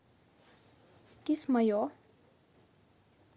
кисмайо